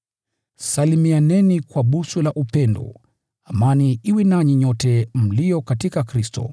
Salimianeni kwa busu la upendo. Amani iwe nanyi nyote mlio katika Kristo.